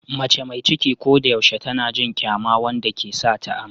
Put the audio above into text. Mace mai ciki ko da yaushe tana jin kyama wanda ke sa ta amai.